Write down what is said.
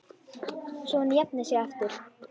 Svo hún jafni sig aftur.